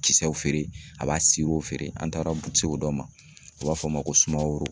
Kisɛw feere, a b'a feere an taara dɔ ma u b'a fɔ o ma ko Sumaworo.